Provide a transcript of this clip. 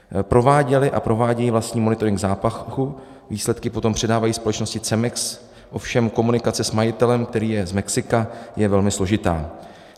Prováděli a provádějí vlastní monitoring zápachu, výsledky potom předávají společnosti CEMEX, ovšem komunikace s majitelem, který je z Mexika, je velmi složitá.